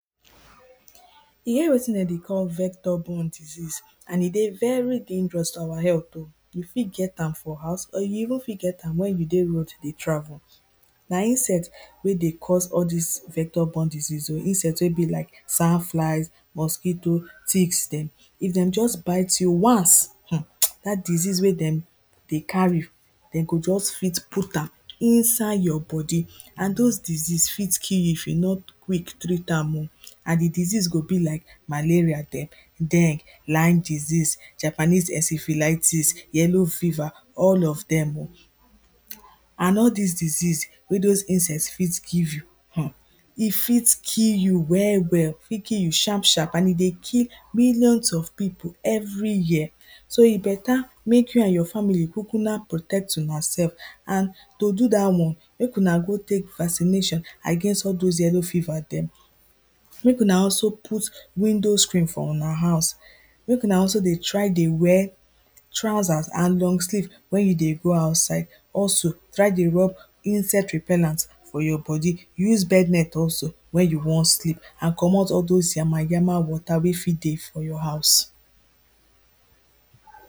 E get wetin dem dey call vector born disease and e dey very dangerous to our health, you fit get am for house or you even fit get am wen you dey road dey travel, na insect wey dey cause all dis vector born disease, insect wey be like sun fly, mosquitoes, ticks dem, if dem just bite. If dem just bite you once dat disease wey dem dey carry dey go just fit put am inside your body, and dose disease fit kill you if you no quick treat am oh, and di disease go be like malaria dem, den lime disease, Japanese esifiliatis, yellow fever all of dem oh. And all dis disease wey dose insect fit give you e fit kill you well well, e fit kill you sharp sharp and e dey kill millions of pipu every year so e better make you and your family kukuma protect una sef and to do dat one make una go take vaccination against all dose yellow fever dem, make una also put window screen for una house make una also try dey trousers and long sleeve wen you dey go outside also try dey rob insect repellant for your body use bed net also wen you wan sleep and comot all dose yamayama water wey fit dey for your house.